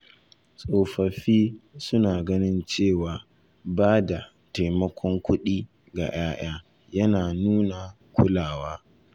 Tsofaffi suna jin cewa ba da taimakon kuɗi ga 'ya'ya yana nuna kulawa